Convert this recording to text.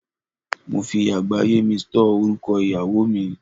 Mo fi àgbáyé mi stọ́ọ̀ orúkọ ìyàwó mi.